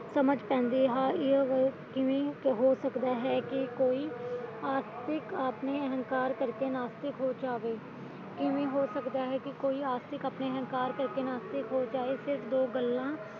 ਸਮਝ ਪੈਂਦੀ ਹੈ ਕਿ ਇਹ ਉਹ ਕਿ ਕਿਵੇਂ ਹੋ ਸਕਦਾ ਹੈ ਕਿ ਕੋਈ ਆਸਤਿਕ ਆਪਣੇ ਅਹਿੰਕਾਰ ਕਰਕੇ ਨਾਸਤਿਕ ਹੋ ਜਾਵੇ ਕਿਵੇਂ ਹੋ ਸਕਦਾ ਹੈ ਕਿ ਕੋਈ ਆਸਤਿਕ ਆਪਣੇ ਅਹਿੰਕਾਰ ਕਰਕੇ ਨਾਸਤਿਕ ਹੋ ਜਾਵੇ ਸਿਰਫ ਦੋ ਗੱਲਾਂ